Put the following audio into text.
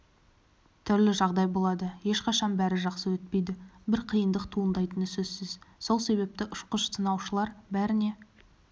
түрлі жағдай болады ешқашан бәрі жақсы өтпейді бір қиындық туындайтыны сөзсіз сол себепті ұшқыш-сынаушылар бәріне